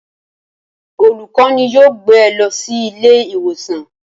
Olùkọ́ni yóò gbé e lọ sí ilé ìwòsàn